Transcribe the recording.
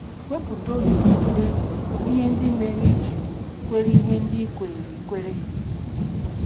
Wepụta oge tụlee ihe ndị mere i ji kwere ihe ndị i kweere i kweere.